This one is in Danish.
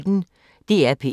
DR P1